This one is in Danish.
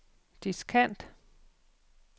diskant